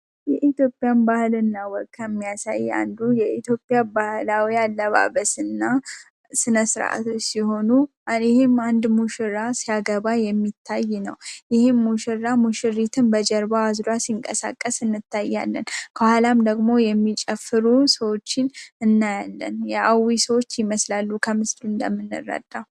የኢትዮጵያን ባህል እና ወግ የሚያሳይ አንዱ የኢትዮጵያ ባህላዊ አለባበስና ስነሥርዓቶ ሲሆኑ ይህም አንድ ሙሽራ ሲያገባ የሚታይ ነው ይህም ሙሽራ ሙሽሪትን በጀርባ አዝራ ሲንቀሳቀስ እንታያለን ከኋላም ደግሞ የሚጨፍሩ ሰዎችን እናያለን የአw ሰዎች ይመስላሉ፡፡